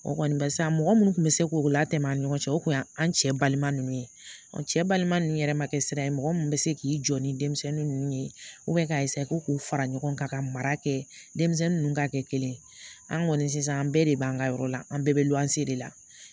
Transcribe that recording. O kɔni barisa mɔgɔ minnu tun bɛ se k'o latɛmɛ an ni ɲɔgɔn cɛ o kun y'an cɛ balima ninnu ye cɛ balima ninnu yɛrɛ ma kɛ sira ye mɔgɔ min bɛ se k'i jɔ ni denmisɛnnin ninnu ye ka ko k'u fara ɲɔgɔn kan ka mara kɛ denmisɛnnin ninnu ka kɛ kelen ye an kɔni sisan an bɛɛ de b'an ka yɔrɔ la an bɛɛ bɛ luwanse de la